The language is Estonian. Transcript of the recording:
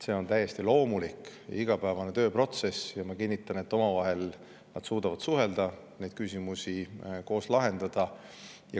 See on täiesti loomulik igapäevane tööprotsess ja ma kinnitan, et nad suudavad omavahel suhelda, neid küsimusi koos lahendada.